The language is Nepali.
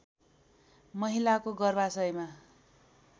महिलाको गर्भाशयमा